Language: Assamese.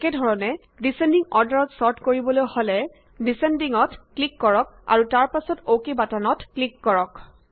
একেধৰণে ডিচেন্ডিং অৰ্ডাৰত ছৰ্ট কৰিবলৈ হলে ডিচেন্ডিং ত ক্লিক কৰক আৰু তাৰ পাছত অকে বাটনটোত ক্লিক কৰক